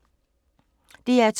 DR2